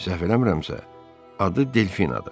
Səhv eləmirəmsə, adı Delfinadır.